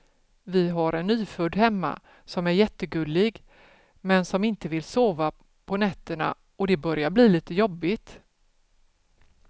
Vi har en nyfödd hemma som är jättegullig, men som inte vill sova på nätterna och det börjar bli lite jobbigt.